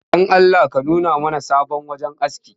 Don Allah ka nuna mana sabon wajen aski